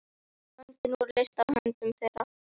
Böndin voru leyst af höndum þeirra.